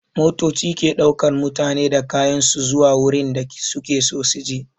Motoci ke ɗaukan mutane da kayan su zuwa wurin da su ke so su je.